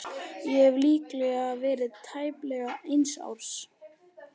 Ég hef líklega verið tæplega eins árs.